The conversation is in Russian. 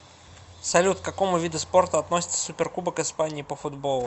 салют к какому виду спорта относится суперкубок испании по футболу